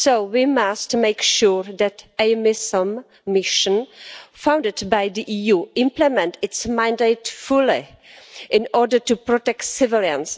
We must make sure that a mission funded by the EU implements its mandate fully in order to protect civilians.